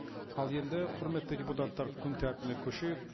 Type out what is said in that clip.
ал енді құрметті депутаттар күн тәртібіне көшейік